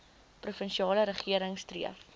provinsiale regering streef